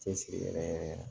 Cɛsiri yɛrɛ yɛrɛ